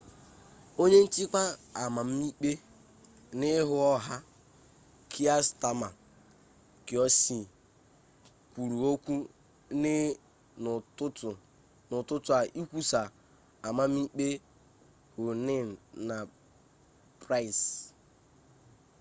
onye nchịkwa amamikpe n'ihu ọha kier stama qc kwuru okwu n'ụtụtụ a ikwusa amamikpe huhne na pryce